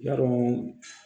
Yarɔ